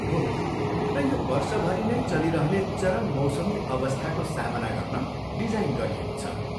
हो, र यो वर्षभरि नै चलिरहने चरम मौसमी अवस्थाको सामना गर्न डिजाइन गरिएको छ।